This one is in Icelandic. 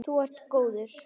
Þú ert góður.